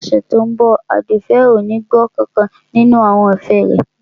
Ní ọ̀sẹ̀ tí ó ń bọ̀ Àdùfẹ̀ ò ní gbọ́ nkankan nínú àwọn ẹ̀fẹ̀ rẹ